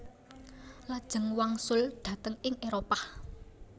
Lajeng wangsul dhateng ing Éropah